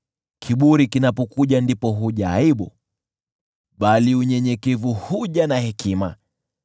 Kiburi kinapokuja, ndipo huja aibu, bali unyenyekevu huja na hekima.